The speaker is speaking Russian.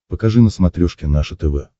покажи на смотрешке наше тв